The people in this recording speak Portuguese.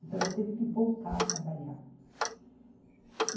Então, ele teve que voltar a trabalhar.